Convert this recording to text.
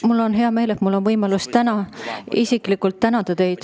" Mul on hea meel, et mul on võimalus täna teid isiklikult tänada.